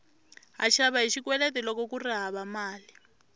ha xava hi xikweleti loko kuri hava mali